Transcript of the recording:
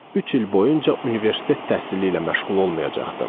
Üç il boyunca universitet təhsili ilə məşğul olmayacaqdım.